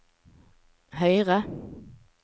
høyre